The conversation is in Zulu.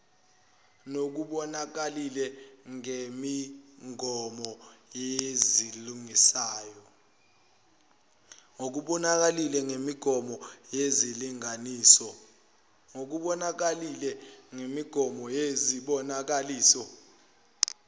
nokubonakalile ngemigomo yezilinganiso